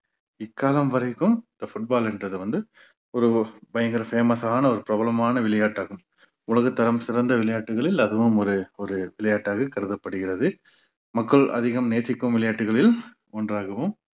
இக்காலம் வரைக்கும் இந்த football ன்றது வந்து ஒரு பயங்கர famous ஆன ஒரு பிரபலமான விளையாட்டு ஆகும் உலகத்தரம் சிறந்த விளையாட்டுகளில் அதுவும் ஒரு ஒரு விளையாட்டாக கருதப்படுகிறது மக்கள் அதிகம் நேசிக்கும் விளையாட்டுகளில் ஒன்றாகவும்